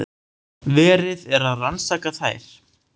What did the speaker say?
Verið er að rannsaka þær